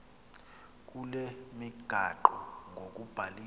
kule migaqo ngokubhaliswa